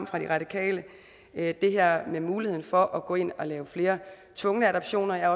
fra de radikale det er det her med muligheden for at gå ind at lave flere tvungne adoptioner jeg